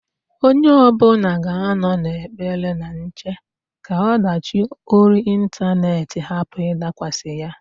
Onye ọbụna ga-anọ n'ekpere na nche ka ọdachị ori intanet hapụ ịdakwasa ya.